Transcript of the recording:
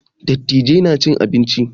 Dattijai na cin abinci